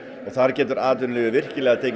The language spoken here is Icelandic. þar getur atvinnulífið virkilega tekið